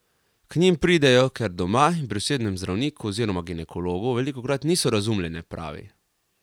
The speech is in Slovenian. K njim pridejo, ker doma in pri osebnem zdravniku oziroma ginekologu velikokrat niso razumljene, pravi.